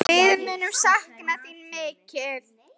Við munum sakna þín mikið.